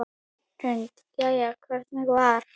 Hrund: Jæja, hvernig var?